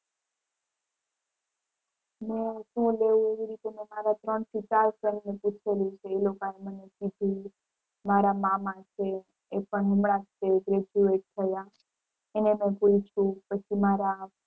હું શું લેવું એવી રીતે મે મારા ત્રણ થી ચાર friend ને પૂછેલું છે. એ લોકો એ મને કીધું. મારા મામા છે એ પણ હમણાં જ તે graduate થયા એને મે પૂછ્યું પછી મારા